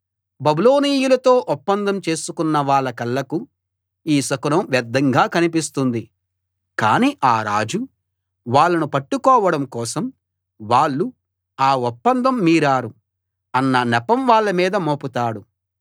బబులోనీయులతో ఒప్పందం చేసుకున్న వాళ్ల కళ్ళకు ఈ శకునం వ్యర్ధంగా కనిపిస్తుంది కాని ఆ రాజు వాళ్ళను పట్టుకోవడం కోసం వాళ్ళు ఆ ఒప్పందం మీరారు అన్న నెపం వాళ్ళ మీద మోపుతాడు